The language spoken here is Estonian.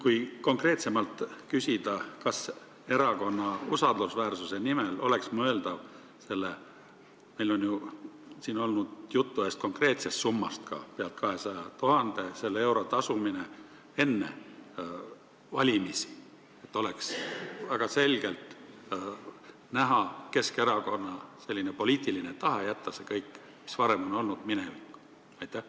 Kui konkreetsemalt küsida, kas erakonna usaldusväärsuse nimel oleks mõeldav selle raha – juttu on olnud ühest konkreetsest summast, mis ulatub üle 200 000 euro – tasumine enne valimisi, et oleks väga selgelt näha Keskerakonna poliitiline tahe jätta kõik, mis varem on olnud, minevikku?